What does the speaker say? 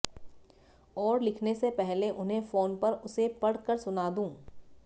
और लिखने से पहले उन्हें फ़ोन पर उसे पढ़ कर सुना दूँ